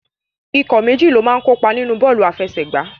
Ikọ̀ méjì ló máa ń kópa nínu bọ́ọ̀lù àfẹsẹ̀gbá.